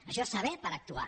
això és saber per actuar